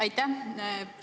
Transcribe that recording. Aitäh!